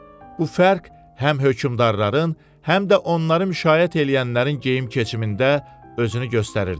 Bu fərq həm hökmdarların, həm də onları müşayiət eləyənlərin geyim-keçimində özünü göstərirdi.